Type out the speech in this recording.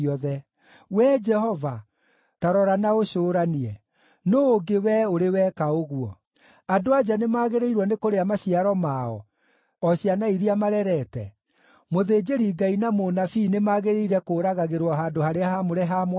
“Wee Jehova, ta rora, na ũcũũranie: Nũũ ũngĩ wee ũrĩ weka ũguo? Andũ-a-nja nĩmagĩrĩirwo nĩ kũrĩa maciaro mao, o ciana iria marerete? Mũthĩnjĩri-Ngai na mũnabii nĩmagĩrĩire kũũragagĩrwo handũ-harĩa-haamũre ha Mwathani?